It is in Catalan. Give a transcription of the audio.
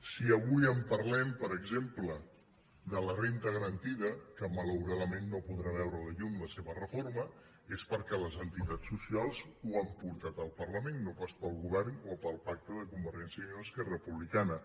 si avui parlem per exemple de la renda garantida que malauradament no podrà veure la llum la seva reforma és perquè les entitats socials ho han portat al parlament no pas pel govern o pel pacte de convergència i unió esquerra republicana